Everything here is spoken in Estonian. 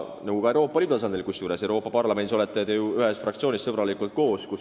Ka Euroopa Liidu tasandil, Euroopa Parlamendis olete te ju ühes fraktsioonis sõbralikult koos.